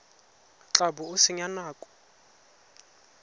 tla bo o senya nako